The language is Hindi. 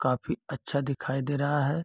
काफी अच्छा दिखाई दे रहा है।